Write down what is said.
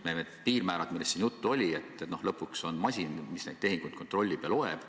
Need piirmäärad, millest siin juttu oli – lõpuks on ju masin see, mis neid tehinguid kontrollib ja loeb.